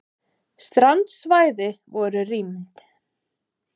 Strandsvæði voru rýmd